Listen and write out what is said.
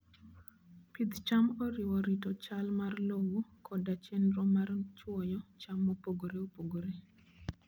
Pidh cham oriwo rito chal mar lowo koda chenro mar chwoyo cham mopogore opogore.